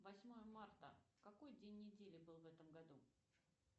восьмое марта какой день недели был в этом году